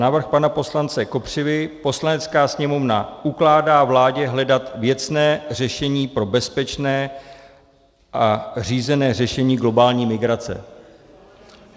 Návrh pana poslance Kopřivy: "Poslanecká sněmovna ukládá vládě hledat věcné řešení pro bezpečné a řízené řešení globální migrace."